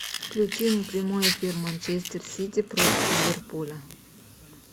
включи прямой эфир манчестер сити против ливерпуля